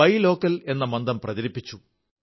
by local എന്ന മന്ത്രം പ്രചരിപ്പിച്ചു